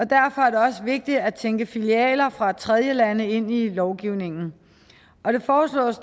derfor er det også vigtigt at tænke filialer fra tredjelande ind i lovgivningen det foreslås